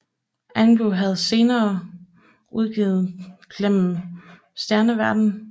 Einbu har senere udgivet Gjennem stjerneverdenen